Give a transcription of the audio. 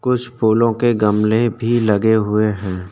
कुछ फूलों के गमले भी लगे हुए हैं।